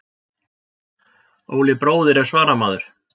Óli bróðir er svaramaður.